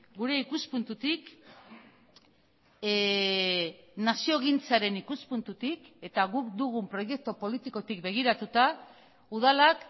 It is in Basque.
gure ikuspuntutik naziogintzaren ikuspuntutik eta guk dugun proiektu politikotik begiratuta udalak